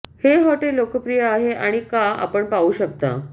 हे हॉटेल लोकप्रिय आहे आणि का आपण पाहू शकता